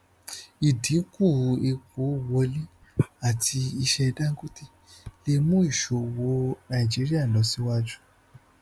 ìdínkù epo wọlé àti iṣẹ dangote lè mu ìṣòwò nàìjíríà lọ síwájú